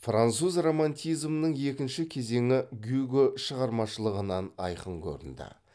француз романтизмінің екінші кезеңі гюго шығармашылығынан айқын көрінді